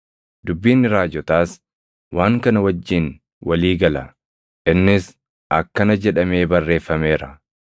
Dubbiin raajotaas waan kana wajjin walii gala; innis akkana jedhamee barreeffameera: